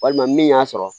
Walima min y'a sɔrɔ